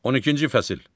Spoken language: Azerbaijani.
12-ci fəsil.